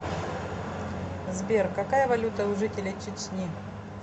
сбер какая валюта у жителей чечни